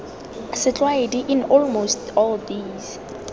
setlwaedi in almost all these